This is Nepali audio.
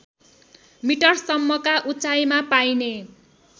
मिटरसम्मका उचाइमा पाइने